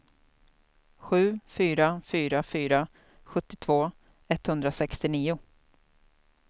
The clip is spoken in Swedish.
sju fyra fyra fyra sjuttiotvå etthundrasextionio